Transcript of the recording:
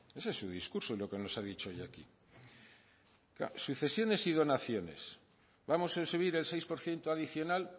ese es su discurso y lo que nos ha dicho hoy aquí sucesiones y donaciones vamos a subir el seis por ciento adicional